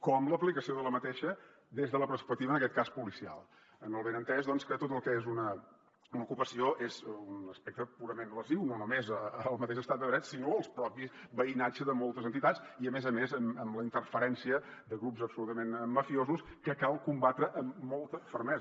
com l’aplicació d’aquesta des de la perspectiva en aquest cas policial amb el benentès que tot el que és una ocupació és un aspecte purament lesiu no només al mateix estat de dret sinó al propi veïnatge de moltes entitats i a més a més amb la interferència de grups absolutament mafiosos que cal combatre amb molta fermesa